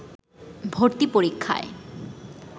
ভর্তি পরীক্ষায়